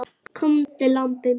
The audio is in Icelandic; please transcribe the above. Komdu, lambið mitt.